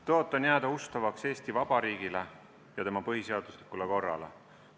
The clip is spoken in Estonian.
Tõotan jääda ustavaks Eesti Vabariigile ja tema põhiseaduslikule korrale.